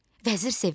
Vəzir sevindi.